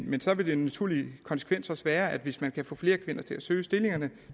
men så vil den naturlige konsekvens også være at hvis man kan få flere kvinder til at søge stillingerne